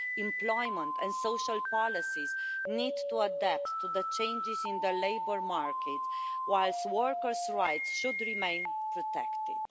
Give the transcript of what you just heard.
Employment and social policies need to adapt to the changes in the labour market, whilst workers rights should remain protected.